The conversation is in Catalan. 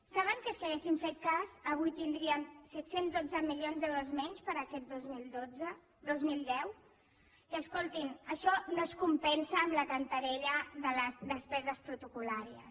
saben que si haguéssim fet cas avui tindríem set cents i dotze milions d’euros menys per a aquest dos mil deu i escoltin això no es compensa amb la cantarella de les despeses protocol·làries